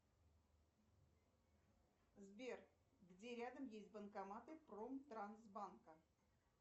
сбер где рядом есть банкоматы промтрансбанка